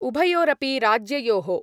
उभयोरपि राज्ययोः